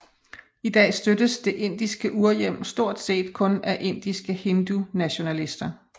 I dag støttes det indiske urhjem stortset kun af indiske hindunationalister